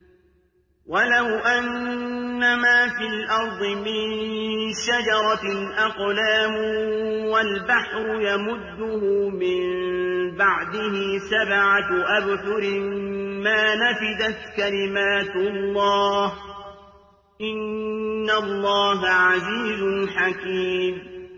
وَلَوْ أَنَّمَا فِي الْأَرْضِ مِن شَجَرَةٍ أَقْلَامٌ وَالْبَحْرُ يَمُدُّهُ مِن بَعْدِهِ سَبْعَةُ أَبْحُرٍ مَّا نَفِدَتْ كَلِمَاتُ اللَّهِ ۗ إِنَّ اللَّهَ عَزِيزٌ حَكِيمٌ